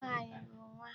Nwaanyị bụ nwa.